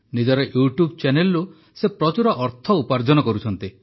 ନିଜର ୟୁଟ୍ୟୁବ୍ ଚ୍ୟାନେଲରୁ ସେ ପ୍ରଚୁର ଅର୍ଥ ଉପାର୍ଜନ କରୁଛନ୍ତି